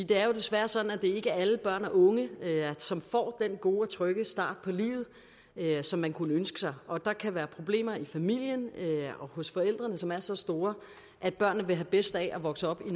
det er jo desværre sådan at det ikke er alle børn og unge som får den gode og trygge start på livet som man kunne ønske sig og der kan være problemer i familierne og hos forældrene som er så store at børnene vil have bedst af at vokse op